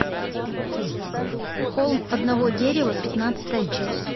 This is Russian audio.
холм одного дерева пятнадцатая часть